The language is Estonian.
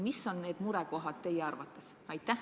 Mis on need murekohad teie arvates?